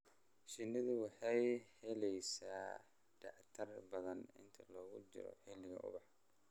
Shinnidu waxay helaysaa nectar badan inta lagu jiro xilliga ubaxa.